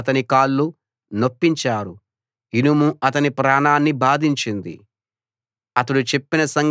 వారు సంకెళ్లతో అతని కాళ్లు నొప్పించారు ఇనుము అతని ప్రాణాన్ని బాధించింది